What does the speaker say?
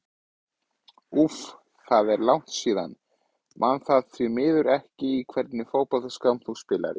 úff það er langt síðan, man það því miður ekki Í hvernig fótboltaskóm spilar þú?